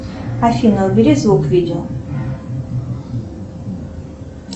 афина убери звук видео